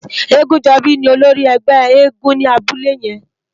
Egunjobi ni ólórì ègbè éègúùn ni àbúlé yèn